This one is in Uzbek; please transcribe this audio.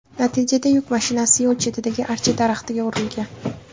Natijada yuk mashinasi yo‘l chetidagi archa daraxtiga urilgan.